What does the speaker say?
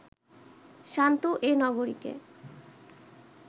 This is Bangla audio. শান্ত এ নগরীকে